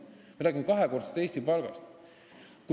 Me räägime kahekordsest Eesti keskmisest palgast.